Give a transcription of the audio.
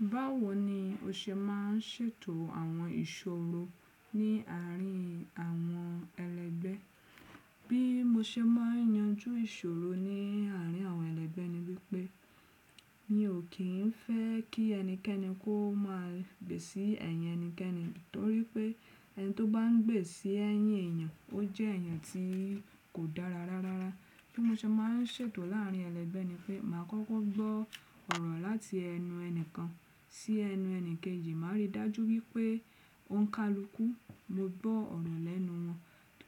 Báwo ni o ṣe ma n ṣètò àwọn ìṣòro ní àárín àwọn ẹlẹ́gbẹ́? Bí mo ṣe máa n yanjú ìṣòro ní àárín àwọn ẹlẹ́gbẹ́ ni wípé, mi ò kín fẹ́ kí ẹnikẹ́ni kó máa gbèsí ẹ̀yẹ ẹnikẹ́ni, torípé ẹni tó bá n gbèsí ẹ̀yìn èèyàn, o jẹ́ ẹ̀yàn tí kò dára rárá. Bí mo ṣe má n ṣètò láàárín ẹlẹ́gbẹ́ ni pé, màá kókó gbọ́ ọ̀rọ̀ láti ẹnu ẹni kan sí ẹnu eni kejì, màá rí dájú wípé ó ń kalukú mo gbọ́ ọ̀rọ̀ lẹ́nu wọn